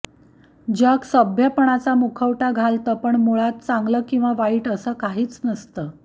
जग सभ्यपणाचा मुखवटा घालतं पण मुळात चांगलं किंवा वाईट असं काहीच नसतं